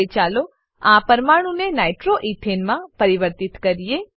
હવે ચાલો આ પરમાણુને nitro એથને માં પરિવર્તિત કરીએ